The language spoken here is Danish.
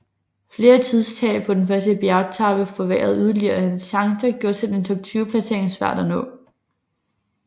Flere tidstab på den første bjergetape forværrede yderligere hans chancer og gjorde selv en top 20 placering svær at nå